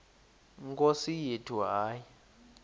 nkosi yethu hayi